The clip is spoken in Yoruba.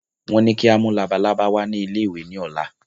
Wọn ní kí a mú labalábá wá ní ilé ìwé ni ọ̀la